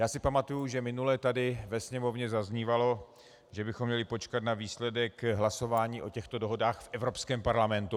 Já si pamatuji, že minule tady ve Sněmovně zaznívalo, že bychom měli počkat na výsledek hlasování o těchto dohodách v Evropském parlamentu.